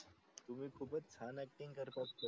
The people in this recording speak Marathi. तुम्ही खूपच छान acting करता सर